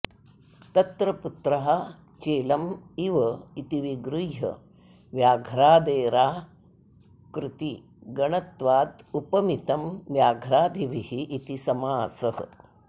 तत्र पुत्रः चेलम् इव इति विगृह्य व्याघ्रादेराकृतिगणत्वादुपमितं व्याघ्रादिभिः इति समासः